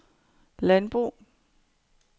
landbrug